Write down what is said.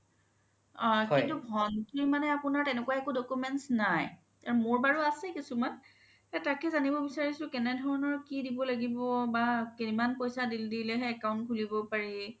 কিন্তু ভন্তিৰ মানে আপোনাৰ একো তেনেকুৱা documents নাই মোৰ বাৰু আছে কিছোমান তকে জানিব বিচাৰিছো কেনে ধৰণৰ কি দিব লাগিব বা কিমান পইচা দিলে হে account খুলিব পাৰি